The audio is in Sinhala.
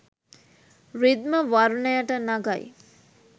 රිද්ම වර්ණයට නගයි.